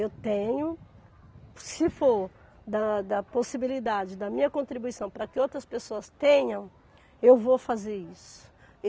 Eu tenho, se for da da possibilidade da minha contribuição para que outras pessoas tenham, eu vou fazer isso.